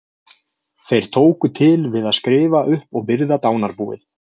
Þeir tóku til við að skrifa upp og virða dánarbúið.